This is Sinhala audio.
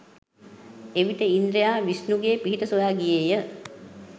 එවිට ඉන්ද්‍රයා විෂ්ණුගේ පිහිට සොයා ගියේය.